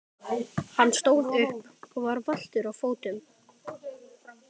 Hann stóð upp og var valtur á fótunum.